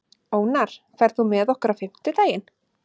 Ónarr, ferð þú með okkur á fimmtudaginn?